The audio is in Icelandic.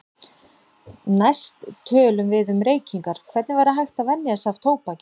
Næst tölum við um reykingar, hvernig væri hægt að venja sig af tóbaki.